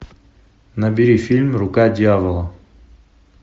набери фильм рука дьявола